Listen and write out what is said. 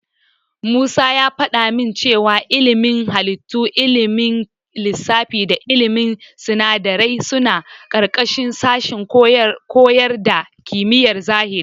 Musa ya faɗa min cewa ilimin halittu, ilimin lissafi da ilimin sinadarai suna ƙarƙashin sashen koyar da kimiyar zahiri.